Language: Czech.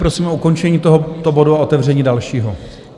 Prosím o ukončení tohoto bodu a otevření dalšího.